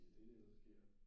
Det er det der sker